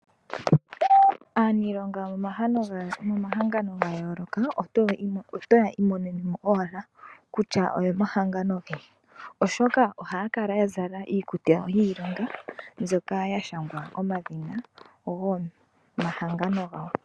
Aaniilonga yomomahangano ga yooloka oto ya imonene kutya oyomahangano geni , oshoka ohaya kala ya zala iikutu yawo yiilonga mbyoka ya shangwa omadhina gomahangano gawo.